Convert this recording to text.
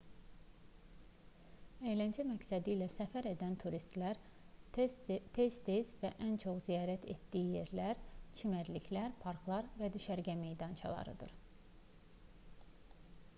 əyləncə məqsədi ilə səfər edən turistlərin tez-tez və ən çox ziyarət etdiyi yerlər çimərliklər parklar və düşərgə meydançalarıdır